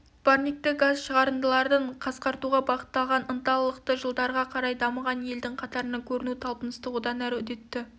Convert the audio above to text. парникті газ шығарындаларын қасқартуға бағытталған ынталылықты жылдарға қарай дамыған елдің қатарынан көріну талпынысты одан әрі үдетті